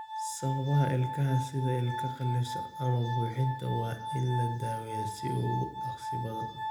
Sababaha ilko sida ilko qallafsan ama buuxinta waa in la daweeyaa sida ugu dhakhsaha badan.